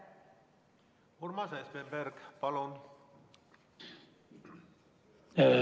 Urmas Espenberg, palun!